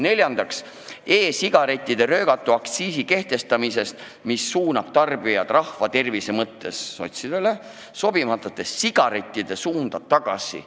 Neljandaks, e-sigarettide röögatu aktsiisi kehtestamine, mis suunab tarbijad rahva tervise mõttes sotsidele sobimatute sigarettide juurde tagasi.